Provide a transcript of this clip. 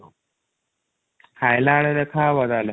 ଖାଇଲା ବେଳେ ଦେଖା ହବ ତାହେଲେ |